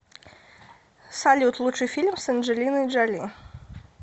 салют лучший фильм с анджелиной джоли